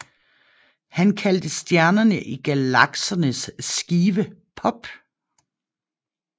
Han kaldte stjernerne i galaksernes skive Pop